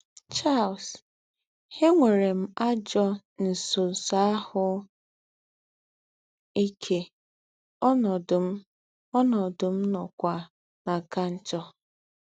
Charles: “Ènwērē m àjọ̄ ńsọ̄nsọ̄ àhū́ íkē, ònọ̄dụ̄ m ònọ̄dụ̄ m nọ̄kwā nà-àkà njọ̄